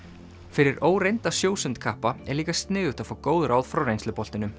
fyrir óreynda sjósundkappa er líka sniðugt að fá góð ráð frá